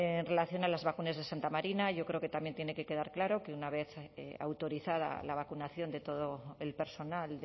en relación a las vacunas de santa marina yo creo que también tiene que quedar claro que una vez autorizada la vacunación de todo el personal